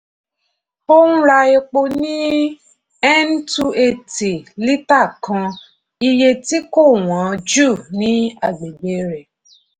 ó ń ra epo ní n two eighty lítà kan iye tí kò wọ́n jù ní agbègbè rẹ̀.